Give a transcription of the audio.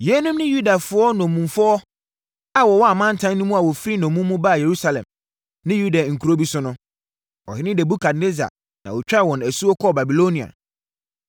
Yeinom ne Yudafoɔ nnommumfoɔ a wɔwɔ amantam no mu a wɔfiri nnommum mu baa Yerusalem ne Yuda nkuro bi so no. Ɔhene Nebukadnessar na ɔtwaa wɔn asuo kɔɔ Babilonia.